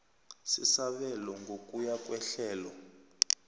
sesabelo ngokuya kwehlelo